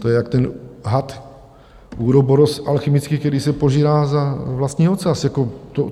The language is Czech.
To je, jak ten had uroboros alchymický, který se požírá za vlastní ocas.